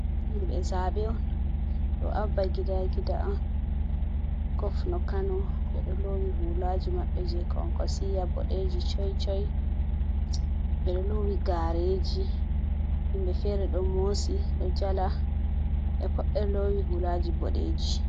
Himɓe zaaɓe on, ɗo Abba Gida Gida on ngofno Kano, ɓe ɗo loowi huulaaji maɓɓe, jey Konkosiiya boɗeeji coycoy. Ɓe ɗo loowi gaareeji, himɓe feere ɗo moosi, ɗo jala, ɓe pat ɓe ɗo loowi huulaaji boɗeeji.